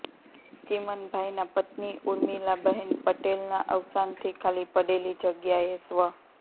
ચીમનભાઇના પત્ની ઉર્િમલાબેન પટેલના અવસાનથી ખાલી પડેલી જગ્યાએ સ્વ